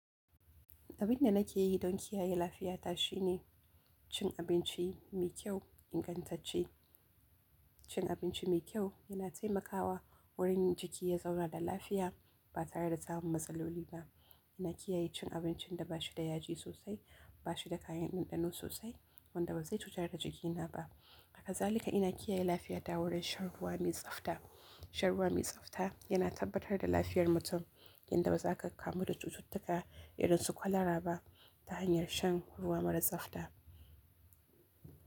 Abin da nake yi don kiyaye lafiya ta shine cin abinci mi kyau, ingantacce. Cin abinci mai kyau yana taimakawa wurin jiki ya zauna da lafiya ba tare da samun matsaloli ba. Ina kiyaye cin abincin da bashi da yaji sosai, ba shi da kayan ɗanɗano sosai, wanda bazai cutar da jikina ba. Hakazalika ina kiyaye lafiya ta wurin shan ruwa mai tsabta. Shan ruwa mai tsabta yana tabbatar da lafiyar mutum, inda ba za ka kamu da cututtuka idan su kwalaraba ta hanyar shan ruwa mara tsabta.